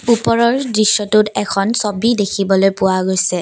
ওপৰৰ দৃশ্যটোত এখন ছবি দেখিবলৈ পোৱা গৈছে।